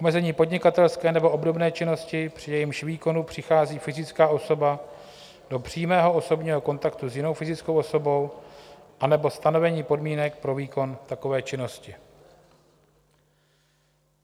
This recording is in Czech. Omezení podnikatelské nebo obdobné činnosti, při jejímž výkonu přichází fyzická osoba do přímého osobního kontaktu s jinou fyzickou osobou, anebo stanovení podmínek pro výkon takové činnosti.